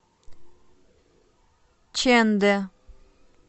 чэндэ